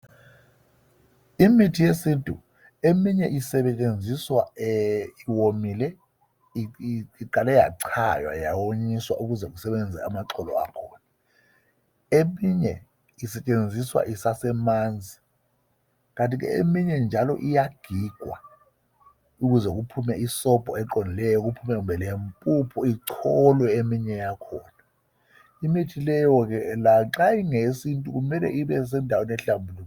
Imithi yesintu eminye usebenziswa iwomile iqale yachaywa yawonyiswa ukuze kusebenze amaxolo akhona . Eminye osetshenziswa isasemanzi. Kanti ke eminye njalo iyagigwa ukuze kuphume isobho eqondileyo kuphume kumbe lempuphu icholwe eminye yakhona. Imithi leyo ke lanxa ingeyesintu kumele ibe sendaweni ehlambulukileyo.